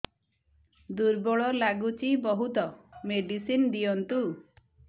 ଦୁର୍ବଳ ଲାଗୁଚି ବହୁତ ମେଡିସିନ ଦିଅନ୍ତୁ